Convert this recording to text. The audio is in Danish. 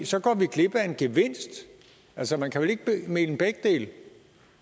så går vi glip af en gevinst altså man kan vel ikke mene begge dele